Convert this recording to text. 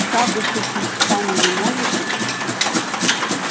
шагу ступить сами не можете